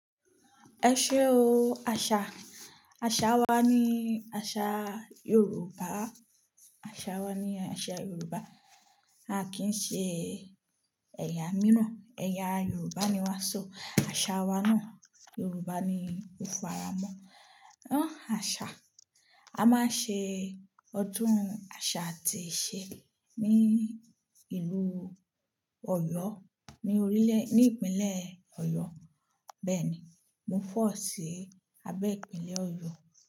Ẹ ṣé o, àṣà. Àṣà wa ni àṣà Yorùbá. Àṣà wa ni àṣà Yorùbá. A kì í ṣe ẹ̀yà míràn. Ẹ̀yà Yorùbá ni wàá sọ. Àṣà wa náà Yorùbá ni ó f'ara mọ́. Ah àṣà, a máa ṣe ọdún àṣà àti ìṣe ní ìlú Ọ̀yọ́, ní orílè ní ìpínlẹ̀ Ọ̀yọ́. Bẹ́ẹ̀ ni, mo fall sí abẹ́ ìpínlẹ̀ Ọ̀yọ́